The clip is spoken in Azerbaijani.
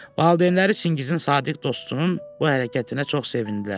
Valideynləri Çingizin sadiq dostunun bu hərəkətinə çox sevindilər.